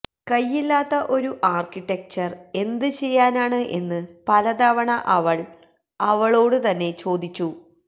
കയ്യില്ലാത്ത ഒരു ആര്ക്കിടെക്ചര് എന്ത് ചെയ്യാനാണ് എന്ന് പലതവണ അവള് അവളോട് തന്നെ ചോദിച്ചു